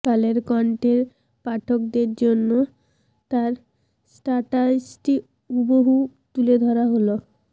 কালেরকণ্ঠের পাঠকদের জন্য তার স্টাটাসটি হুবহু তুলে ধরা হলো